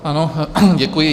Ano, děkuji.